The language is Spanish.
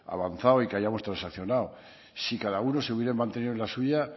avanzado y que hayamos transaccionado si cada uno se hubiera mantenido en la suya